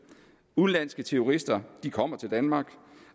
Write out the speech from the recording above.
udenlandske terrorister kommer til danmark